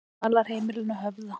Dvalarheimilinu Höfða